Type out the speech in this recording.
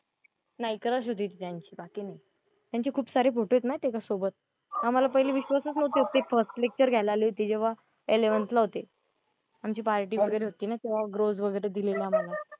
नाही, क्रश होती ती त्यांची बाकी नाही. त्यांचे खूप सारे फोटो आहेत माहिती आहे का सोबत. आम्हाला पहिले विश्वासच नव्हता. ते फर्स्ट लेक्टर घ्यायला आले होते जेव्हा एलेवन्थ ला होते पार्टी वगैरे होती ना तेव्हा रोझ वगैरे दिलेलं आम्हाला.